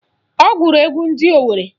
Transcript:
Ọ gụrụ egwu ndị Owerre